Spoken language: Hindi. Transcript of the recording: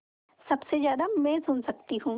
सबसे ज़्यादा मैं सुन सकती हूँ